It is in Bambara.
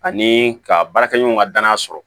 Ani ka baarakɛɲɔgɔn ka danaya sɔrɔ